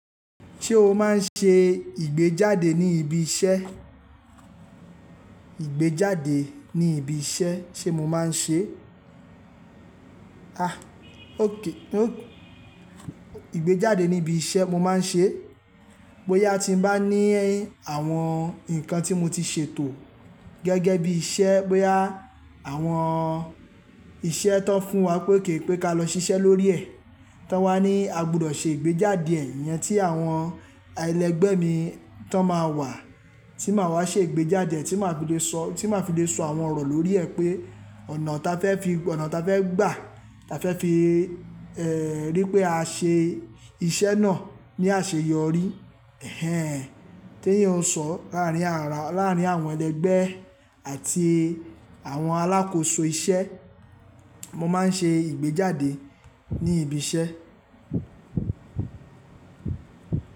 Ṣé o máa ń ṣe ìgbéjáde ní ibi iṣẹ́? Ìgbéjáde ní ibi iṣẹ́ ṣé mo máa ń ṣe? Òkè ó, ìgbéjáde ní ibi iṣẹ́ mo máa ń ṣe. Bóyá tí m bá ní àwọn nǹkan tí mo ti ṣètò gẹ́gẹ́ bí iṣẹ́, bóyá àwọn iṣẹ́ tó fún wa pé óké pé ka lọ ṣiṣẹ́ lórí ẹ̀. Tán wá ní a gbudọ̀ ṣe ìgbéjáde ẹ̀ yẹn tí àwọn ẹlẹgbẹ́ mi tó máa wà, tí màá wá ṣe ìgbéjáde, tí màá fi lé sọ, tí màá fi lé sọ àwọn ọ̀rọ̀ lórí ẹ̀ pé ọ̀nà ta fẹ́ fi, ọ̀nà ta fẹ́ gbà, ta fẹ́ fi, rí pé a ṣe iṣẹ́ náà ní àṣeyọrí. Tí èyàn o sọ láàárín àwọn ẹlẹgbẹ́ àti àwọn alákòóso iṣẹ́. Mo máa ń ṣe ìgbéjáde ní ibi iṣẹ́.